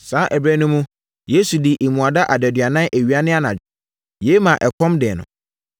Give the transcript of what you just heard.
Saa ɛberɛ no mu, Yesu dii mmuada adaduanan awia ne anadwo. Yei maa ɛkɔm dee no.